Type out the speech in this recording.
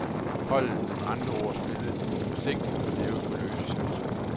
Holdet vil med andre ord spille forsigtigt og leve på løse chancer.